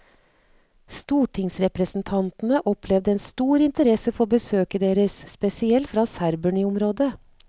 Stortingsrepresentantene opplevde en stor interesse for besøket deres, spesielt fra serberne i området.